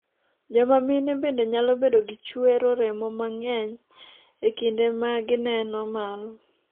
joma mine bende nyalo bedo gi chuero remo mang'eny e kinde m gineno malo